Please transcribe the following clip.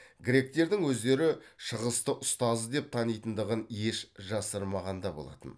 гректердің өздері шығысты ұстазы деп танитындығын еш жасырмаған да болатын